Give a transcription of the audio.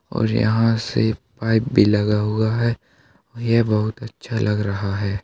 और यहाँ से पाईप भी लगा हुआ है ये बहुत अच्छा लग रहा है।